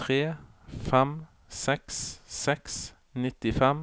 tre fem seks seks nittifem